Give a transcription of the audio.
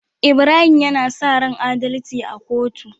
Ibrahim yAna saran adalci a kotu